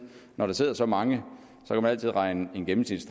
når der sidder så mange regne en gennemsnitlig